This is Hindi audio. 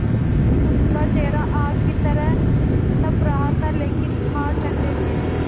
उनका चेहरा आग की तरह तप रहा था लेकिन हाथ ठंडे थे